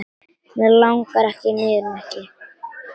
Mig langar ekki niður, Nikki.